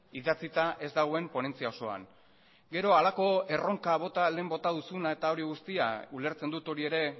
idatzita ez dagoen ponentzia osoan gero halako erronka bota lehen bota duzuna eta hori guztia ulertzen dut hori ere